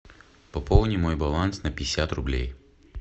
пополни мой баланс на пятьдесят рублей